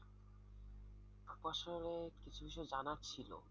আপু আসলে কিছু বিষয় জানার ছিল।